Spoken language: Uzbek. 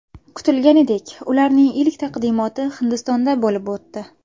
Kutilganidek, ularning ilk taqdimoti Hindistonda bo‘lib o‘tdi.